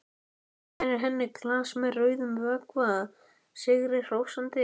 Færir henni glas með rauðum vökva sigri hrósandi.